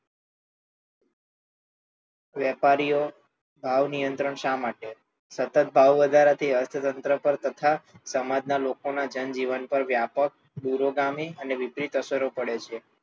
વેપારીઓ ભાવ નિયંત્રણ શા માટે સતત ભાવવધારાની અર્થતંત્ર પર તથા સમાજના લોકોના જનજીવન પર વ્યાપક દૂરોગામી અને વિપરીત અસરો પડે છે.